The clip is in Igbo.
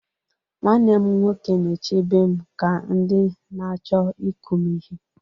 Nwanne m nwoke na-echebe m ka ndị na-achọ ịkụ m ihe.